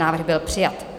Návrh byl přijat.